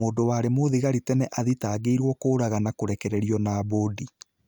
Mũndũ warĩ mũthigari tene athitangiirwo kũũragana kurekererio na mbudi